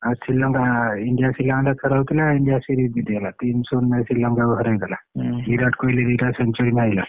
ଆଉ ଶ୍ରୀଲଙ୍କା India ଶ୍ରୀଲଙ୍କା ଟା ଖେଳ ହଉଥିଲା India series ଜିତିଗଲା ତିନ ଶୁନ ରେ ଶ୍ରୀଲଙ୍କା କୁ ହରାଇଦେଲା ବିରାଟ କୋହଲୀ ଦି ଟା century ମାଇଲା।